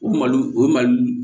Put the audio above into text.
O malo o mali